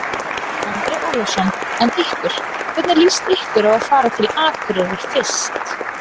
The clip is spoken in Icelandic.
Andri Ólafsson: En ykkur, hvernig líst ykkur á að fara til Akureyrar fyrst?